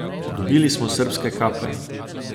Dobili smo srbske kape.